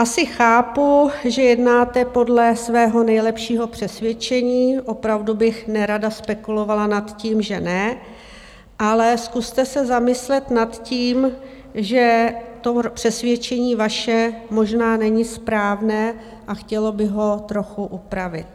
Asi chápu, že jednáte podle svého nejlepšího přesvědčení, opravdu bych nerada spekulovala nad tím, že ne, ale zkuste se zamyslet nad tím, že to přesvědčení vaše možná není správné a chtělo by ho trochu upravit.